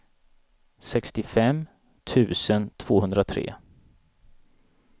sextiofem tusen tvåhundratre